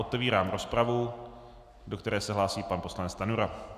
Otevírám rozpravu, do které se hlásí pan poslanec Stanjura.